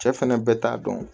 Cɛ fɛnɛ bɛɛ t'a dɔn